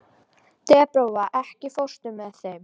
Debóra, ekki fórstu með þeim?